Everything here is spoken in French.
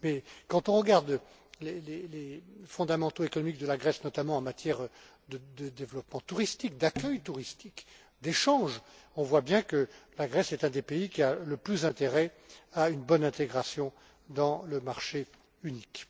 Mais, quand on regarde les fondamentaux économiques de la Grèce, notamment en matière de développement touristique, d'accueil touristique, d'échanges, on voit bien que la Grèce est un des pays qui a le plus intérêt à une bonne intégration dans le marché unique.